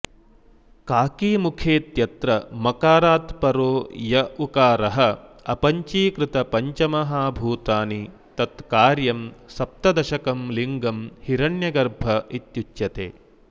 काकीमुखेत्यत्र मकारात् परो य उकारः अपञ्चीकृतपञ्चमहाभूतानि तत्कार्यं सप्तदशकं लिङ्गं हिरण्यगर्भ इत्युच्यते